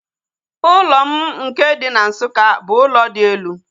Ụlọ m nke dị na Nsukka bụ ụlọ dị elu